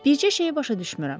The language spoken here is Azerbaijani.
Bircə şeyi başa düşmürəm.